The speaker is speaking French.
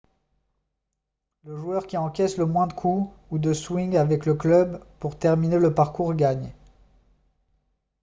le joueur qui encaisse le moins de coups ou de swings avec le club pour terminer le parcours gagne